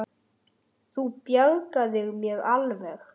Fyrst hringdi hann til Elísu en þar svaraði enginn frekar en fyrri daginn.